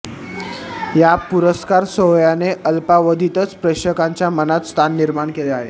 या पुरस्कार सोहळ्याने अल्पावधीतच प्रेक्षकांच्या मनात स्थान निर्माण केलं आहे